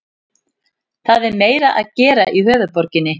Það er meira að gera í höfuðborginni.